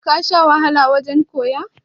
ka Sha wahala wajen koya?